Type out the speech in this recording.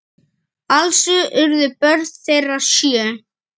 Alls urðu börn þeirra sjö.